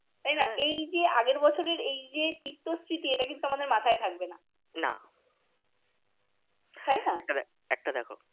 তাইনা এইযে আগের বছরের এইযে তিক্ত স্মৃতি এইটা কিন্তু আমাদের মাথায় থাকবে না তাইনা